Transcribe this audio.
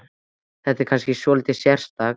Þetta er kannski svolítið sérstakt?